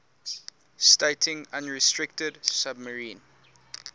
stating unrestricted submarine